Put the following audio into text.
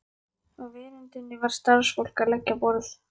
Á veröndinni var starfsfólk að leggja á borð.